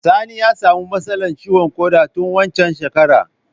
Sani ya sami matsala ciwon ƙoda tun waccan shekarar